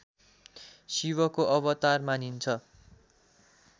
शिवको अवतार मानिन्छ